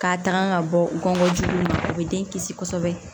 K'a tanga ka bɔ u kɔngɔ juw ma o be den kisi kosɛbɛ